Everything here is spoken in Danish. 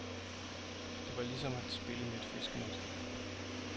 Det var lige som at spille med et fiskenet.